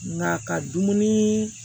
Nka ka dumuni